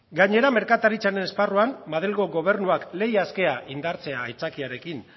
gainera merkataritzaren esparruan madrilgo gobernuak lege askea indartzea aitzakiarekin